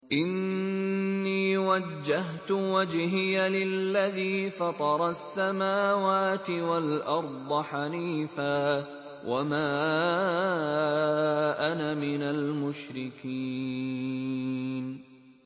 إِنِّي وَجَّهْتُ وَجْهِيَ لِلَّذِي فَطَرَ السَّمَاوَاتِ وَالْأَرْضَ حَنِيفًا ۖ وَمَا أَنَا مِنَ الْمُشْرِكِينَ